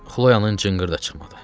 Xloyanın cınqırı da çıxmadı.